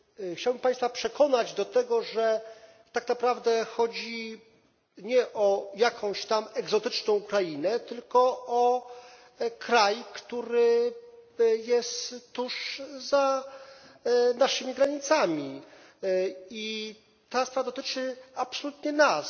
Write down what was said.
Chciałbym Państwa przekonać do tego, że tak naprawdę chodzi nie o jakąś tam egzotyczną krainę, tylko o kraj, który jest tuż za naszymi granicami, i ta sprawa dotyczy absolutnie nas.